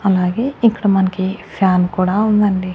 అలాగే ఇక్కడ మనకి ఫ్యాన్ కుడా ఉందండీ.